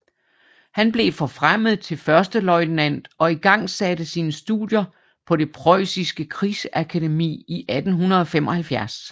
Han blev forfremmet til førsteløjtnant og igangsatte sine studier på det Prøjsiske Krigsakademi i 1875